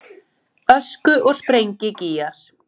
Ösku- og sprengigígar.